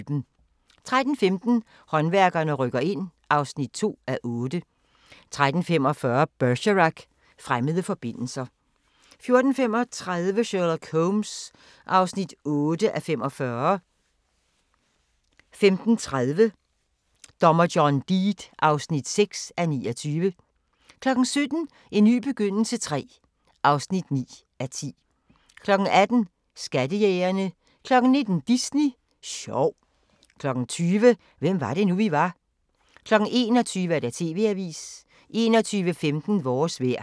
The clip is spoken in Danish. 13:15: Håndværkerne rykker ind (2:8) 13:45: Bergerac: Fremmede forbindelser 14:35: Sherlock Holmes (8:45) 15:30: Dommer John Deed (6:29) 17:00: En ny begyndelse III (9:10) 18:00: Skattejægerne 19:00: Disney sjov 20:00: Hvem var det nu, vi var? 21:00: TV-avisen 21:15: Vores vejr